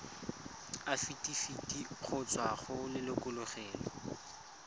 afitafiti go tswa go lelokolegolo